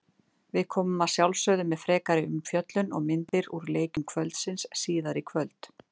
Við komum að sjálfsögðu með frekari umfjöllun og myndir úr leikjum kvöldsins síðar í kvöld.